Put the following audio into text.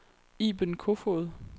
Iben Kofoed